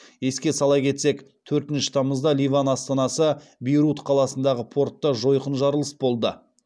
еске сала кетсек төртінші тамызда ливан астанасы бейрут қаласындағы портта жойқын жарылыс болды